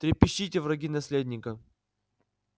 трепещите враги наследника